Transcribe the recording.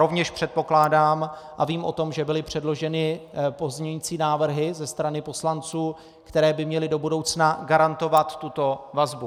Rovněž předpokládám a vím o tom, že byly předloženy pozměňující návrhy ze strany poslanců, které by měly do budoucna garantovat tuto vazbu.